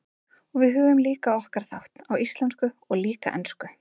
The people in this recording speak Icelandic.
Og við höfum líka okkar þátt, á íslensku og líka ensku.